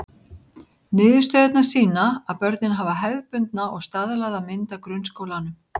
Niðurstöðurnar sýna að börnin hafa hefðbundna og staðlaða mynd af grunnskólanum.